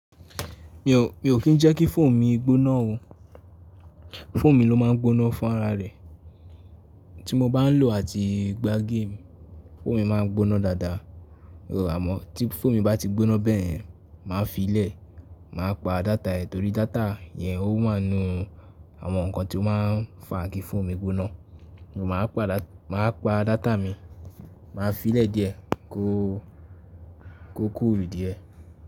Mi ò kí ń jẹ́ kí fóònù mi gbóná o. Fóònù mi ló máa ń gbóná fún ara rẹ̀. Tí mo bá ń lò àti gbá game, fóònù mi máa ń gbóná dáadáa. Á mọ̀ tí fóònù bá ti gbóná bẹ́ẹ̀, màá fi í lẹ̀. Màá pa data ẹ̀ torí data yẹn ó máa ń àwọn nǹkan tí ó máa ń fa kí fóònù mi gbóná. Mo máa pa data mi, màá fi í lẹ̀ díẹ̀ kó cool díẹ̀.